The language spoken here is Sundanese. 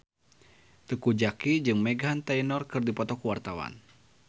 Teuku Zacky jeung Meghan Trainor keur dipoto ku wartawan